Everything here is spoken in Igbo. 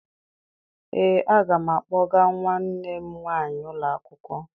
Ee, aga m akpọga nwanne m nwaanyị ụlọ akwụkwọ